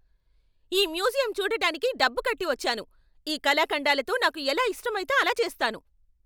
ఈ మ్యూజియం చూడటానికి డబ్బు కట్టి వచ్చాను, ఈ కళాఖండాలతో నాకు ఎలా ఇష్టమైతే అలా చేస్తాను!